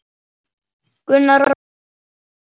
Gunnar og Rut.